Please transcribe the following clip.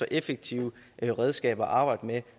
effektive redskaber at arbejde med